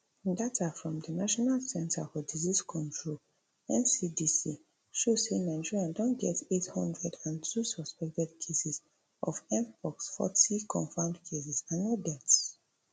data from di national centre for disease control ncdc show say nigeria don get eight hundred and two suspected cases of mpox forty confirmed cases and no deaths